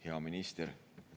Hea minister!